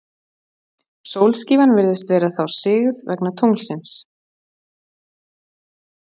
Sólskífan virðist þá vera sigð vegna tunglsins.